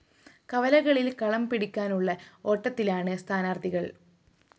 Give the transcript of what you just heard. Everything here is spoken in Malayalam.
കവലകളില്‍ കളം പിടിക്കാനുള്ള ഓട്ടത്തിലാണ് സ്ഥാനാര്‍ത്ഥികള്‍